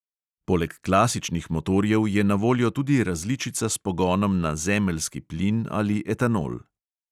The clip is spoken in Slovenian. Poleg klasičnih motorjev je na voljo tudi različica s pogonom na zemeljski plin ali etanol.